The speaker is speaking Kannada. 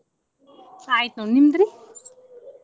ಚಾ ಆಯ್ತ. ನಿಮ್ದ್ರಿ?